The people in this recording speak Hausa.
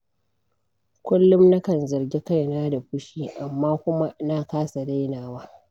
Kullum nakan zargi kaina da fushi, amma kuma na kasa dainawa.